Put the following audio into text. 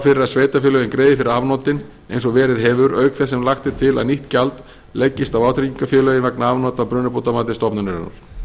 að sveitarfélögin greiði fyrir afnotin eins og verið hefur auk þess sem lagt er til að nýtt gjald leggist á vátryggingarfélögin vegna afnota af brunabótamati stofnunarinnar